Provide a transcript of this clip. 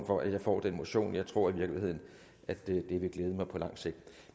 for at jeg får den motion jeg tror i virkeligheden at det vil glæde mig på lang sigt